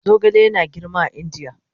Zogale yana girma a Indiya